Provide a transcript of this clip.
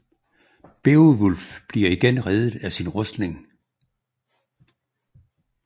Beovulf bliver igen reddet af sin rustning